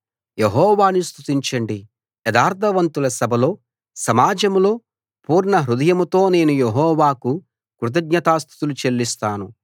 యెహోవాను స్తుతించండి యథార్థవంతుల సభలో సమాజంలో పూర్ణ హృదయంతో నేను యెహోవాకు కృతజ్ఞతాస్తుతులు చెల్లిస్తాను